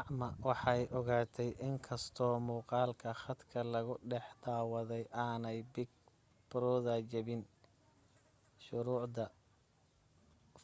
acma waxay ogaatay in inkastoo muuqalka khadka lagu dhex daawaday aanay big brother jebin shuruucda